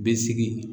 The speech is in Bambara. Bɛ sigi